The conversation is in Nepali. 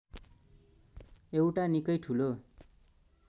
एउटा निकै ठूलो